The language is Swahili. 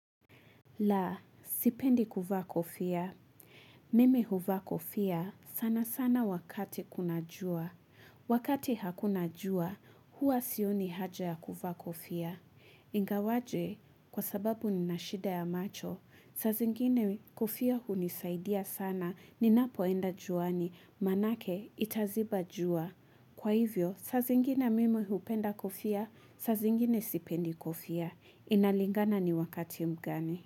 La, sipendi kuvaa kofia. Mimi huvaa kofia sana sana wakati kuna jua. Wakati hakuna jua, hua sioni haja ya kuvaa kofia. Ingawaje, kwa sababu nina shida ya macho. Saa zingine kofia hunisaidia sana, ninapoenda juani, maanake itaziba jua. Kwa hivyo, saa zingine mimi hupenda kofia, saa zingine sipendi kofia. Inalingana ni wakati mgani.